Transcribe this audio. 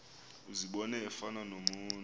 uzibone efana nomntu